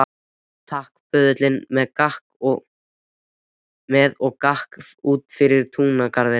Aftastir fara svo blaðamenn og ljósmyndarar, íslenskir og ítalskir.